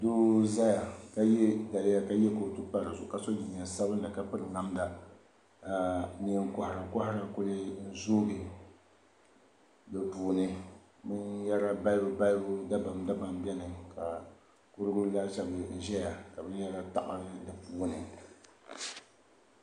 doo n zaya ka ye daliya ka ye kootu pa di zuɣu ka so jinjam sabinli ka piri namda ka neen' kohira kɔhira kuli zooi di puuni binyara balibu balibu dabam dabam beni ka kurigu laasabu zaya ka binyara taɣi di puuni